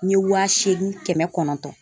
N ye wa seegin kɛmɛ kɔnɔntɔn